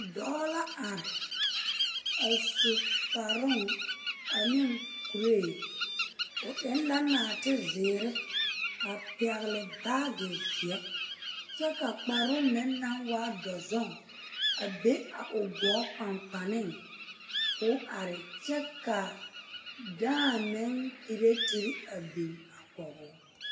Dɔɔ la are a su kparoo ane kuree o eŋ la nɔɔtezeere a pɛgle baagi seɛ kyɛ ka kparoo meŋ naŋ waa dɔzuŋ a be a o gɔɔ kpaŋkpane k'o are kyɛ ka dãã meŋ keretere a biŋ a kɔge o.